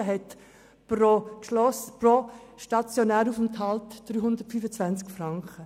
Dieser steht pro stationären Aufenthalt bei 325 Franken.